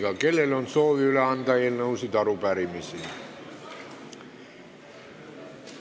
Kas kellelgi on soovi anda üle eelnõusid või arupärimisi?